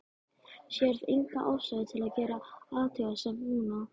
Sérð enga ástæðu til að gera athugasemd núna.